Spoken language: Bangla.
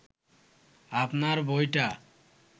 আপনার বইটা